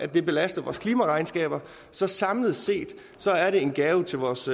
det belaster vores klimaregnskab så samlet set er det en gave til vores